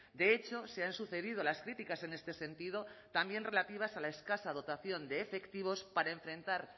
de hecho se han sucedido las críticas en este sentido también relativas a la escasa dotación de efectivos para enfrentar